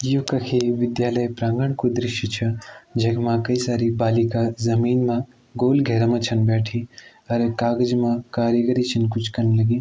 यू कखी विद्यालय प्रांगण कु दृश्य छ जगमा कई सारी बालिका जमीन मा गोल घेरा म छन बैठी अर एक कागज मा कारीगरी छन कुछ कन लगीं।